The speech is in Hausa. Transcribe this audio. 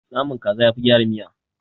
Naman kaza yafi gyara miya.